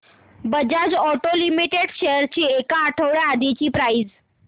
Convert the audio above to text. Bajaj auto limited shares ची एक आठवड्या आधीची प्राइस